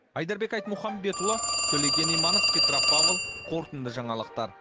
айдарбек айтмұхамбетұлы төлеген иманов петропавл қорытынды жаңалықтар